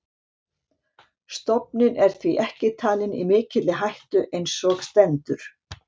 Stofninn er því ekki talinn í mikilli hættu eins og stendur.